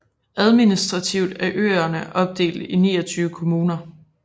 Administrativt er øerne opdelt i 29 kommuner